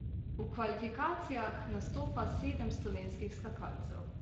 V kvalifikacijah nastopa sedem slovenskih skakalcev.